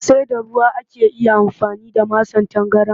Sai da ruwa ake iya amfani da masan tangaran